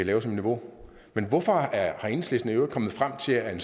have som niveau men hvorfor er enhedslisten i øvrigt kommet frem til at en